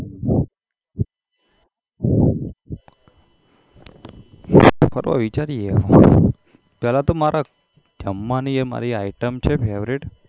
ફરવા વિચારીએ હવે પેલા તો મારા જમવાની એ મારી item છે એ favourite